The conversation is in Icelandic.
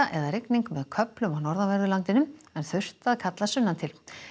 eða rigning með köflum á norðanverðu landinu en þurrt að kalla sunnan til